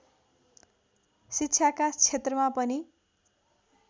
शिक्षाका क्षेत्रमा पनि